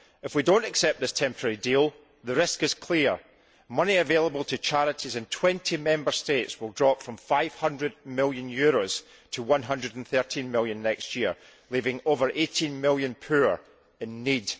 If we do not accept this temporary deal the risk is clear money available to charities in 20 Member States will drop from EUR 500 million to EUR 113 million next year, leaving over 18 million poor and in need.